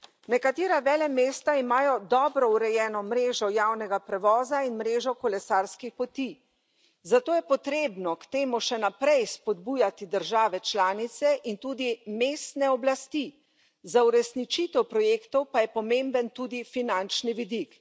Nekatera velemesta imajo dobro urejeno mrežo javnega prevoza in mrežo kolesarskih poti, zato je treba k temu še naprej spodbujati države članice in tudi mestne oblasti, za uresničitev projektov pa je pomemben tudi finančni vidik.